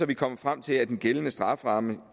vi kommet frem til at den gældende strafferamme